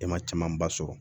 E ma camanba sɔrɔ